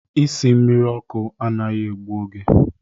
Isi mmiri ọkụ anaghị egbu oge.